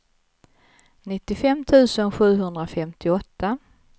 nittiofem tusen sjuhundrafemtioåtta